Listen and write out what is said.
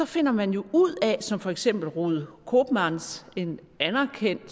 finder man jo ud af som for eksempel ruud koopmans en anerkendt